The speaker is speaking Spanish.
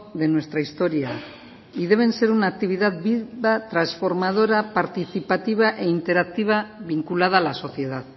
de nuestra historia y deben ser una actividad viva trasformadora participativa e interactiva vinculada a la sociedad